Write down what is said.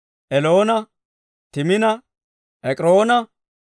Eloona, Timina, Ek'iroona,